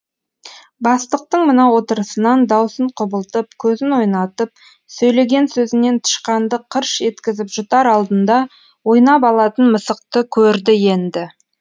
бастықтың мына отырысынан даусын құбылтып көзін ойнатып сөйлеген сөзінен тышқанды қырш еткізіп жұтар алдында ойнап алатын мысықты көрді енді